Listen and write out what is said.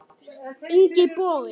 Ingi Bogi.